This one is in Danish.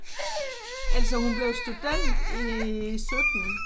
Altså hun blev student i 17